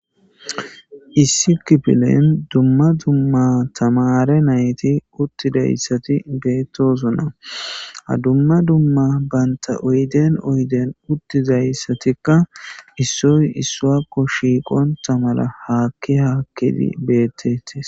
Issi kipilen dumma dumma tamare nayti uttidayssati beettosonna hadumma dumma banta oyden oyden uttizayssatikka issoy issuakko shiiqonta mala haakki haakkidi beettetis.